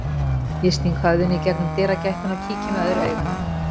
Ég sting höfðinu í gegnum dyragættina og kíki með öðru auganu.